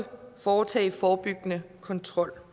foretage forebyggende kontrol